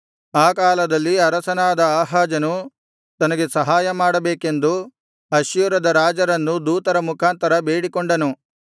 ಆ ಕಾಲದಲ್ಲಿ ಅರಸನಾದ ಆಹಾಜನು ತನಗೆ ಸಹಾಯ ಮಾಡಬೇಕೆಂದು ಅಶ್ಶೂರದ ರಾಜರನ್ನು ದೂತರ ಮುಖಾಂತರ ಬೇಡಿಕೊಂಡನು